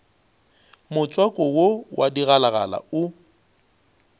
motswako wo wa digalagala o